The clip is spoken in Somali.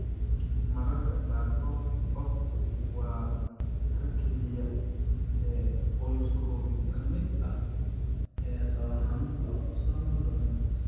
Mararka qaarkood qofku waa ka keliya ee qoyskooda ka mid ah ee qaba xanuunka autosomal dominant.